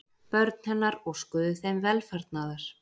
Börn hennar óskuðu þeim velfarnaðar.